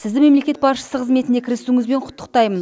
сізді мемлекет басшысы қызметіне кірісуіңізбен құттықтаймын